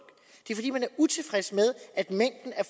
utilfreds med at mængden af